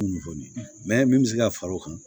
min bɛ se ka fara o kan